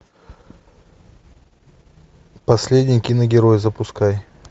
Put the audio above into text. последний киногерой запускай